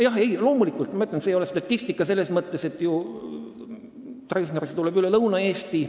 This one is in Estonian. Jah, loomulikult, ma ütlen, see ei ole statistika selles mõttes, et Treffnerisse tuleb ju lapsi üle Lõuna-Eesti.